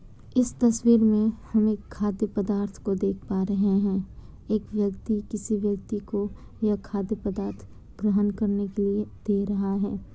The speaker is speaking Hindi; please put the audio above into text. इस तस्वीर में हम एक खाद्य पदार्थ को देख पा रहे हैं। एक व्यक्ति किसी व्यक्ति को यह खाद्य पदार्थ ग्रहण करने के लिए दे रहा है।